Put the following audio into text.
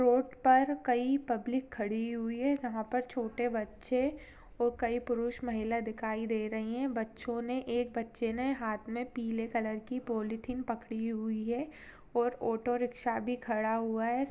Road पर कई public खड़ी हुई है। यहाँ पर छोटे बच्चे और कई पुरुष महिला दिखाई दे रही हैं। बच्चों ने एक बच्चे ने हाथ में पीले कलर की पॉलीथिन पकड़ी हुई है और ऑटो रिक्शा भी खड़ा हुआ है।